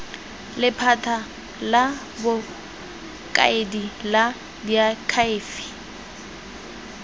lephata la bokaedi la diakhaefe